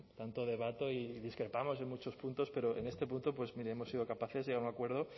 tanto debato y discrepamos en muchos puntos pero en este punto pues mire hemos sido capaces de llegar un acuerdo